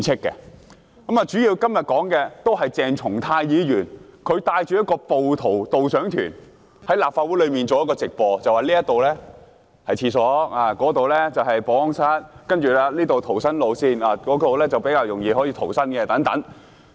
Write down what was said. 今天，我們主要討論的，是鄭松泰議員帶着"暴徒導賞團"，在立法會內進行直播，介紹哪裏是洗手間，哪裏是保安室，哪裏是逃生路線，哪裏比較容易逃生等。